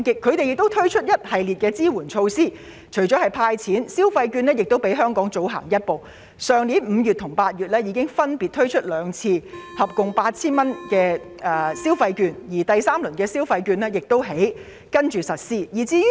當地為此推出了一系列支援措施，除了"派錢"，消費券計劃亦比香港更早推出，去年5月和8月已經先後兩次派發合共 8,000 元的消費券，第三輪的消費券則會在稍後發放。